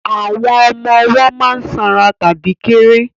Àwọn ọmọ ọwọ́ má ń sanra tàbí kéré